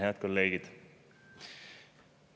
Head kolleegid!